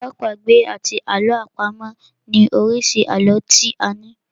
Àlọ́ àpagbè àti àlọ́ àpamọ̀ ni oríṣi àlọ́ tí a ní.